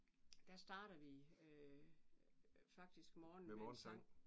Der starter vi faktisk morgenen med en sang